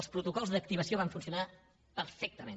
els protocols d’activació van funcionar perfectament